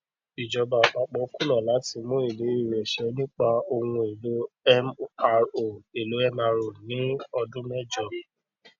ìjọba àpapọ kùnà láti mú ìlérí rẹ ṣẹ nípa ohun èlò mro èlò mro ní ọdún mẹjọ